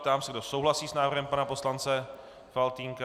Ptám se, kdo souhlasí s návrhem pana poslance Faltýnka.